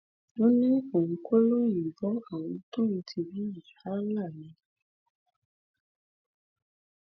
ó ní òun kọ lòun ń bọ àwọn tóun ti bí yìí Allah ni